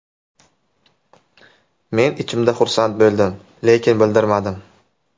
Men ichimda xursand bo‘ldim, lekin bildirmadim.